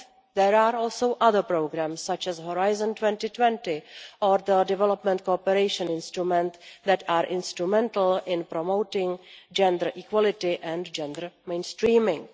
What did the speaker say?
There are also other programmes, such as Horizon 2020 or the Development Cooperation Instrument, that are instrumental in promoting gender equality and gender mainstreaming.